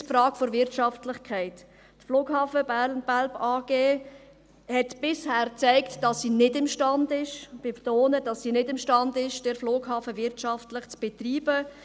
Erstens, die Frage der Wirtschaftlichkeit: Die Flughafen BernBelp AG hat bisher gezeigt, dass sie nicht imstande ist – ich betone, dass sie nicht imstande ist –, den Flughafen wirtschaftlich zu betreiben.